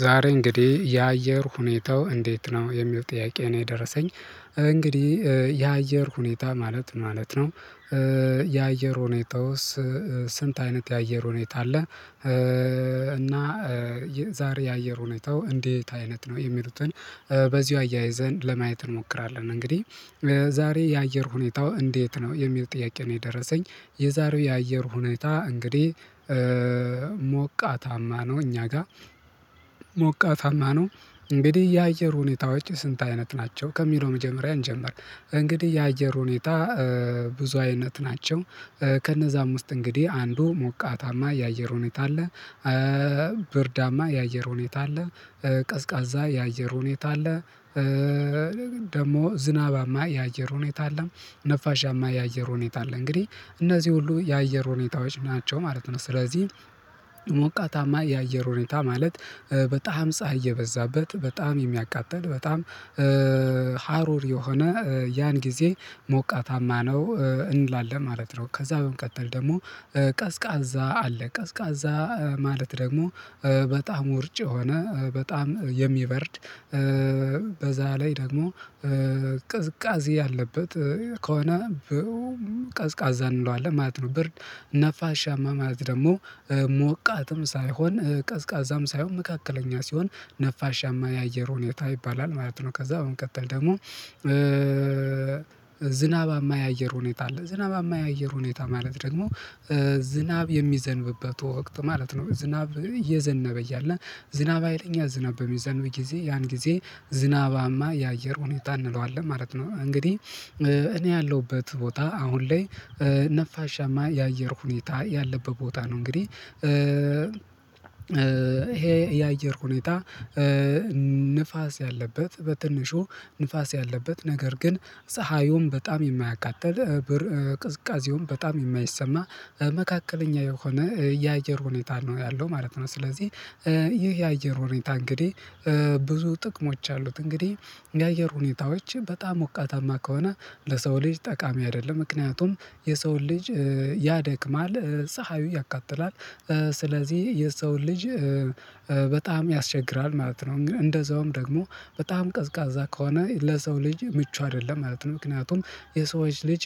ዛሬ እንግዲህ የአየር ሁኔታው እንዴት ነው የሚለው ጥያቄ ነው የደረሰኝ እንግዲህ የአየር ሁኔታ ማለት ማለት ነው። የአየር ሁኔታው ስንት አይነት የአየር ሁኔታ አለ? እና ዛሬ የአየር ሁኔታው እንዴት አይነት ነው የሚሉትን በዚሁ አያይዘን ለማየት እንሞክራለን። እንግዲህ ዛሬ የአየር ሁኔታው እንዴት ነው የሚል ጥያቄ ነው የደረሰኝ የዛሬው የአየር ሁኔታ እንግዲህ ሞቃታማ ነው። እኛ ጋር ሞቃታማ ነው እንግዲህ የአየር ሁኔታዎች ስንት አይነት ናቸው ከሚለው መጀመሪያ እንጀምር። እንግዲህ የአየር ሁኔታ ብዙ አይነት ናቸው። ከነዛም ውስጥ እንግዲህ አንዱ ሞቃታማ የአየር ሁኔታ አለ። ብርዳማ የአየር ሁኔታ አለ። ቀዝቃዛ የአየር ሁኔታ አለ። ደግሞ ዝናባማ የአየር ሁኔታ አለ ነፋሻማ የአየር ሁኔታ አለ እንግዲህ እነዚህ ሁሉ የአየር ሁኔታዎች ናቸው ማለት ነው። ስለዚህ ሞቃታማ የአየር ሁኔታ ማለት በጣም ፀሀይ የበዛበት በጣም የሚያቃጥል በጣም ሀሩር የሆነ ያን ጊዜ ሞቃታማ ነው እንላለን ማለት ነው። ከዛ በመቀጠል ደግሞ ቀዝቃዛ አለ ቀዝቃዛ ማለት ደግሞ በጣም ወርጭ የሆነ በጣም የሚበርድ በዛ ላይ ደግሞ ቅዝቃዜ ያለበት ከሆነ ቀዝቃዛ እንለዋለን ማለት ነው። ብር ነፋሻማ ማለት ደግሞ ሞቃትም ሳይሆን ቀዝቃዛም ሳይሆን መካከለኛ ሲሆን ነፋሻማ የአየር ሁኔታ ይባላል ማለት ነው። ከዛ በመቀጠል ደግሞ ዝናባማ የአየር ሁኔታ አለ ዝናባማ የአየር ሁኔታ ማለት ደግሞ ዝናብ የሚዘንብበት ወቅት ማለት ነው። ዝናብ እየዘነበ እያለ ዝናብ አይለኛ ዝናብ በሚዘንብ ጊዜ ያን ጊዜ ዝናባማ የአየር ሁኔታ እንለዋለን ማለት ነው። እንግዲህ እኔ ያለሁበት ቦታ አሁን ላይ ነፋሻማ የአየር ሁኔታ ያለበት ቦታ ነው እንግዲህ ይሄ የአየር ሁኔታ። ንፋስ ያለበት በትንሹ ንፋስ ያለበት ነገር ግን ፀሀዩን በጣም የማያቃጥል ቅዝቃዜውን በጣም የማይሰማ መካከለኛ የሆነ የአየር ሁኔታ ነው ያለው ማለት ነው። ስለዚህ ይህ የአየር ሁኔታ እንግዲህ ብዙ ጥቅሞች አሉት እንግዲህ የአየር ሁኔታዎች በጣም ሞቃታማ ከሆነ ለሰው ልጅ ጠቃሚ አይደለም ምክንያቱም የሰውን ልጅ ያደክማል ፀሀዩ ያቃጥላል ስለዚህ የሰውን ልጅ በጣም ያስቸግራል ማለት ነው። እንግዲህ እንደዛውም ደግሞ በጣም ቀዝቃዛ ከሆነ ለሰው ልጅ ምቹ አይደለም ማለት ነው። ምክንያቱም የሰዎች ልጅ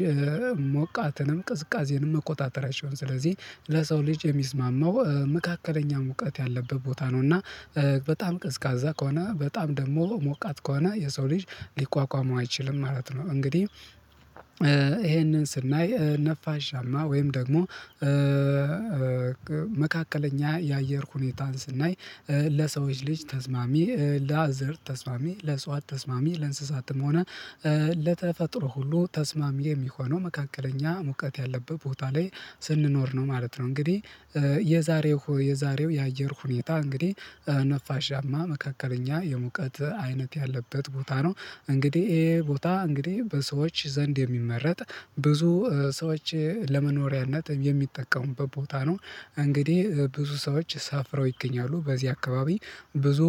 ሞቃትንም ቅዝቃዜንም መቆጣጠር አይችሉም ስለዚህ ለሰው ልጅ የሚስማማው መካከለኛ ሙቃት ያለበት ቦታ ነው። እና በጣም ቀዝቃዛ ከሆነ በጣም ደግሞ ሞቃት ከሆነ የሰው ልጅ ሊቋቋመው አይችልም ማለት ነው። እንግዲህ ይሄንን ስናይ ነፋሻማ ወይም ደግሞ መካከለኛ የአየር ሁኔታን ስናይ ለሰዎች ልጅ ተስማሚ ለአዘር ተስማሚ ለእጽዋት ተስማሚ ለእንስሳትም ሆነ ለተፈጥሮ ሁሉ ተስማሚ የሚሆነው መካከለኛ ሙቀት ያለበት ቦታ ላይ ስንኖር ነው ማለት ነው። እንግዲህ የዛሬው የአየር ሁኔታ እንግዲህ ነፋሻማ መካከለኛ የሙቀት አይነት ያለበት ቦታ ነው። እንግዲህ ይሄ ቦታ እንግዲህ በሰዎች ዘንድ የሚመረጥ ብዙ ሰዎች ለመኖሪያነት የሚጠቀሙበት ቦታ ነው። እንግዲህ ብዙ ሰዎች ሰፍረው ይገኛሉ በዚህ አካባቢ ብዙ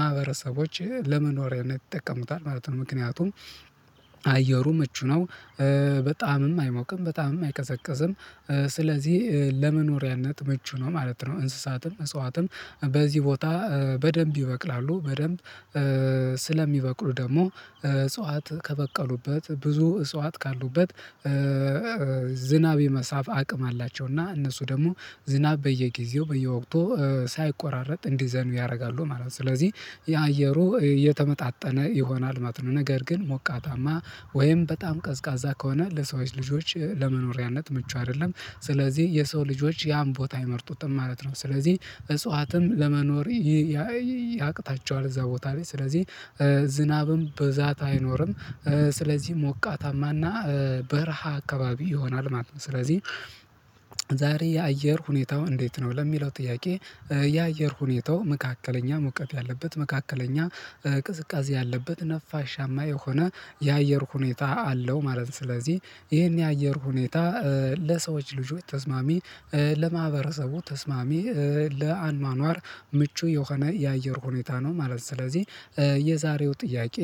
ማህበረሰቦች ለመኖሪያነት ይጠቀሙታል ማለት ነው። ምክንያቱም አየሩ ምቹ ነው በጣምም አይሞቅም በጣምም አይቀዘቅዝም ስለዚህ ለመኖሪያነት ምቹ ነው ማለት ነው። እንስሳትም እፅዋትም በዚህ ቦታ በደንብ ይበቅላሉ በደንብ ስለሚበቅሉ ደግሞ እጽዋት ከበቀሉበት ብዙ እጽዋት ካሉበት ዝናብ የመሳብ አቅም አላቸው እና እነሱ ደግሞ ዝናብ በየጊዜው በየወቅቱ ሳይቆራረጥ እንዲዘንብ ያደርጋሉ ማለት ነው። ስለዚህ የአየሩ እየተመጣጠነ ይሆናል ማለት ነው። ነገር ግን ሞቃታማ ወይም በጣም ቀዝቃዛ ከሆነ ለሰዎች ልጆች ለመኖሪያነት ምቹ አይደለም ስለዚህ የሰው ልጆች ያን ቦታ አይመርጡትም ማለት ነው። ስለዚህ እጽዋትም ለመኖር ያቅታቸዋል እዛ ቦታ ላይ ስለዚህ ዝናብም በብዛት አይኖርም ስለዚህ ሞቃታማና በረሃ አካባቢ ይሆናል ማለት ነው። ስለዚህ ዛሬ የአየር ሁኔታው እንዴት ነው ለሚለው ጥያቄ የአየር ሁኔታው መካከለኛ ሙቀት ያለበት መካከለኛ ቅዝቃዜ ያለበት ነፋሻማ የሆነ የአየር ሁኔታ አለው ማለት ነው። ስለዚህ ይሄን የአየር ሁኔታ ለሰዎች ልጆች ተስማሚ ለማህበረሰቡ ተስማሚ ለአኗኗር ምቹ የሆነ የአየር ሁኔታ ነው ማለት ነው። ስለዚህ የዛሬው ጥያቄ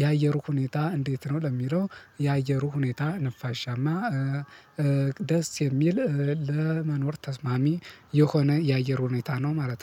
የአየሩ ሁኔታ እንዴት ነው ለሚለው የአየሩ ሁኔታ ነፋሻማ ደስ የሚል ለመኖር ተስማሚ የሆነ የአየር ሁኔታ ነው ማለት ነው